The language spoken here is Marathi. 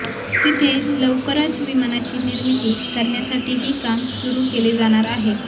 तिथे लवकरच विमानाची निर्मिती करण्यासाठीही काम सुरु केले जाणार आहे